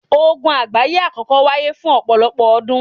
Ogun àgbáyé àkọ́kọ́ wáyé fún ọ̀pọ̀lọpọ̀ ọdún